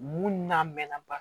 Mun n'a mɛnna ba